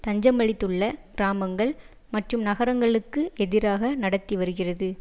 தஞ்சமளித்துள்ள கிராமங்கள் மற்றும் நகரங்களுக்கு எதிராக நடத்தி வருகிறது